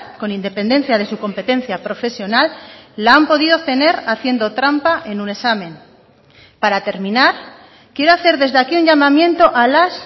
con independencia de su competencia profesional la han podido obtener haciendo trampa en un examen para terminar quiero hacer desde aquí un llamamiento a las